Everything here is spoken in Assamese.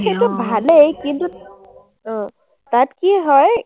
সেইটো ভালেই, কিন্তু অ, তাত কি হয়,